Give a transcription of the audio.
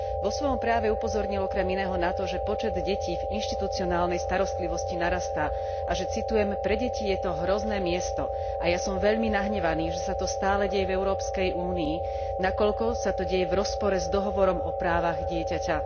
Vo svojom prejave upozornil okrem iného na to, že počet detí v inštitucionálnej starostlivosti narastá a že citujem Pre deti je to hrozné miesto a ja som veľmi nahnevaný, že sa to stále deje v Európskej únii, nakoľko sa to deje v rozpore s Dohovorom o právach dieťaťa.